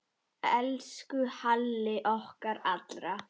Elsku Halli okkar allra.